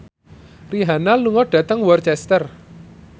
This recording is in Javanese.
Rihanna lunga dhateng Worcester